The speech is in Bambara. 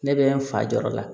Ne bɛ n fa jɔyɔrɔ la